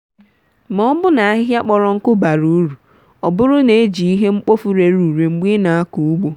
ma ọbụna ahịhịa kpọrọ nkụ bara uru oburu n’eji ihe mkpofu rere ure mgbe ị na-akọ ugbo.